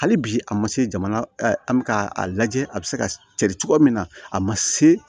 Hali bi a ma se jamana an bɛ ka a lajɛ a bɛ se ka carin cogoya min na a ma se